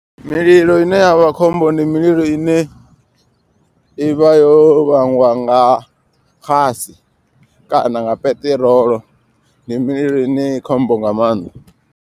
Mililo ine yavha khombo ndi mililo ine ivha yo vhangwa nga xasi kana nga peṱirolo. Ndi mililo ine i khombo nga maanḓa.